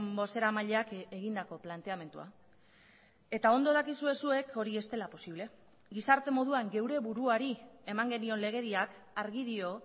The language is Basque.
bozeramaileak egindako planteamendua eta ondo dakizue zuek hori ez dela posible gizarte moduan geure buruari eman genion legediak argi dio